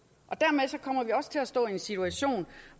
dermed kommer vi også til at stå i en situation